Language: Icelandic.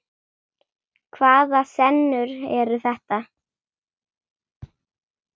Hvaða senur eru þetta?